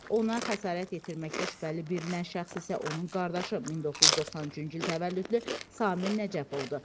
Ona xəsarət yetirməkdə şübhəli bilinən şəxs isə onun qardaşı 1993-cü il təvəllüdlü Samir Nəcəfovdur.